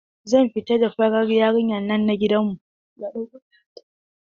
Zan fita da farar yarinyan nan na gidan mu.